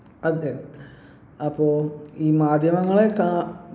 അതെ അപ്പോ ഈ മാധ്യമങ്ങളെ കാ